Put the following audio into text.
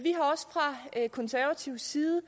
jeg at konservativ side